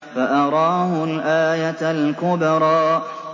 فَأَرَاهُ الْآيَةَ الْكُبْرَىٰ